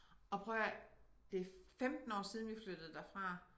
Og prøv at høre her det 15 år siden vi flyttede derfra